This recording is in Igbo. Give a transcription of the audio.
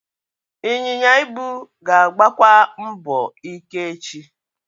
Ịnyịnya ibu ga-agbakwa mbọ ike echi.